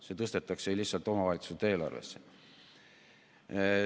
See tõstetakse lihtsalt omavalitsuste eelarvesse.